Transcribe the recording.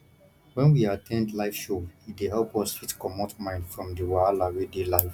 when we at ten d live show e dey help us fit comot mind from di wahala wey dey life